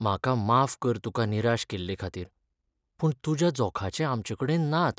म्हाका माफ कर तुका निराश केल्लेखातीर पूण तुज्या जोखाचे आमचेकडेन नात.